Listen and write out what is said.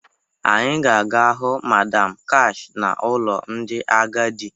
Anyị ga-aga hụ Madam Kash n'ụlọ ndị agadi